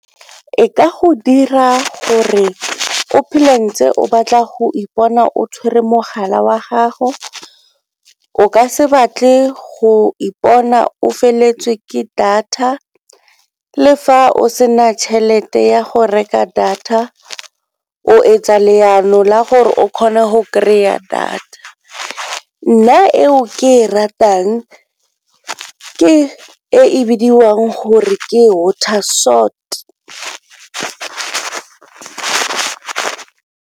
E ka go dira gore o phele ntse o batla go ipona o tshwere mogala wa gago, o ka se batle go ipona o feleletswe ke data le fa o sena tšhelete ya go reka data o e tsa leano la gore o kgone go kry-a data. Nna eo ke e ratang ke e e bidiwang gore ke water sort.